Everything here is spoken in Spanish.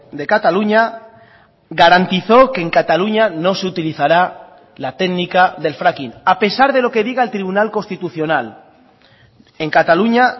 de cataluña garantizó que en cataluña no se utilizará la técnica del fracking a pesar de lo que diga el tribunal constitucional en cataluña